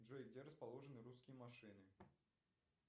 джой где расположены русские машины